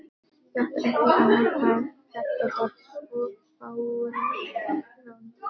Gat ekki annað, þetta var svo fáránlegt.